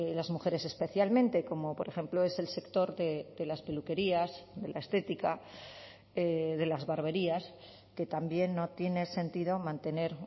las mujeres especialmente como por ejemplo es el sector de las peluquerías de la estética de las barberías que también no tiene sentido mantener